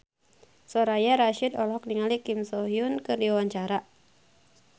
Soraya Rasyid olohok ningali Kim So Hyun keur diwawancara